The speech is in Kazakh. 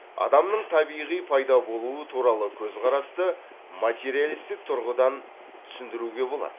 адамның табиғи пайда болуы туралы көзқарасты материалистік тұрғыдан түсіндіруге болады